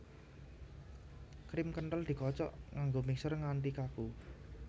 Krim kenthel dikocok nganggo mixer nganti kaku